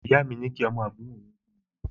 Ìyá mi ní kí ọmọ àbúrò wọn ó gbá ilẹ̀